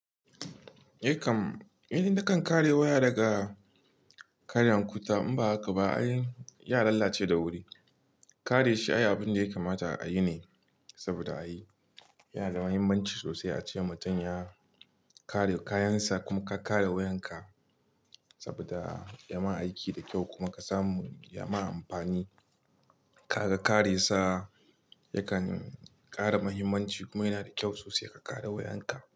Eh kam, idan dakan kare waya daga karyan kutta in ba haka ba ai ya lalace da wuri. Kare shi ayyukan da ya kamata a yi ne saboda ai yana da muhimmanci sosai a ce mutum ya kare kayansa kuma ka kare wayanka saboda ya ma aiki da kyau kuma ka samu ya ma amfani. Kaga ka kare sa ya kan ƙara muhimmanci kuma yana da kyau sosai ka kare wayanka.